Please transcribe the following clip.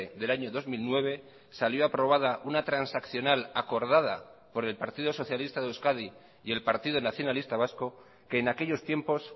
del año dos mil nueve salió aprobada una transaccional acordada por el partido socialista de euskadi y el partido nacionalista vasco que en aquellos tiempos